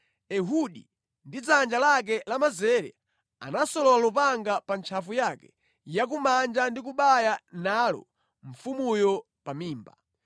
Ehudi ndi dzanja lake lamanzere, anasolola lupanga pa ntchafu yake ya kumanja ndi kubaya nalo mfumuyo pa mimba.